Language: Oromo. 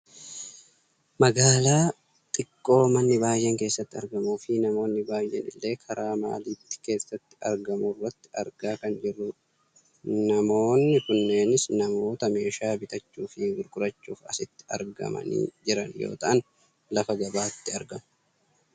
Magaalaa xiqqoo manni baayyeen keessatti argamuufi namoonni baayyeen illee karaa maaalittii keessatti argamurratti argaa kan jirrudha. Namoonni kunneenis namoota meeshaa bitachuufi gurgurachuuf asitti argamaanii jiran yoo ta'an lafa gabaatti argamu.